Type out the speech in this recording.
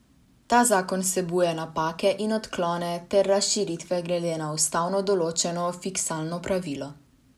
Ta zakon vsebuje napake in odklone ter razširitve glede na ustavno določeno fiskalno pravilo.